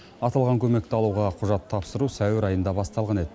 аталған көмекті алуға құжат тапсыру сәуір айында басталған еді